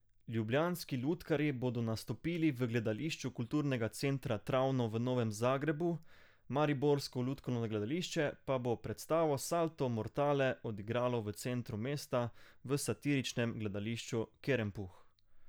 Ljubljanski lutkarji bodo nastopili v gledališču Kulturnega centra Travno v Novem Zagrebu, mariborsko lutkovno gledališče pa bo predstavo Salto mortale odigralo v centru mesta, v satiričnem gledališču Kerempuh.